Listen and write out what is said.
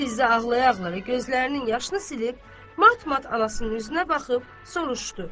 Fizə ağlaya-ağlaya gözlərinin yaşını silib mat-mat anasının üzünə baxıb soruşdu: